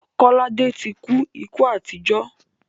Kọ́ládé ti kú ikú àìtọ́jọ́.